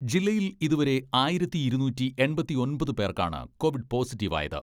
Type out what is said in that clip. ജില്ലയിൽ ഇതുവരെ ആയിരത്തി ഇരുനൂറ്റി എൺപത്തിയൊമ്പത് പേർക്കാണ് കോവിഡ് പോസിറ്റീവ് ആയത്.